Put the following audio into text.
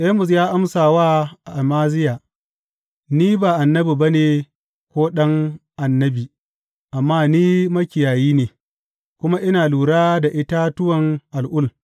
Amos ya amsa wa Amaziya, Ni ba annabi ba ne ko ɗan annabi, amma ni makiyayi ne, kuma ina lura da itatuwan al’ul.